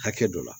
Hakɛ dɔ la